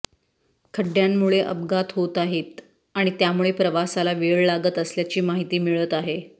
खंड्ड्यामुळे अपघात होत आहेत आणि त्यामुळे प्रवासाला वेळ लागत असल्याची माहिती मिळत आहे